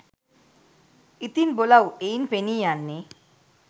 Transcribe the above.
ඉතින් බොලවු එයින් පෙනී යන්නේ